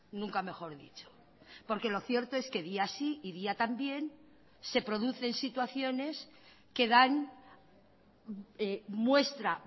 nunca mejor dicho porque lo cierto es que día sí y día también se producen situaciones que dan muestra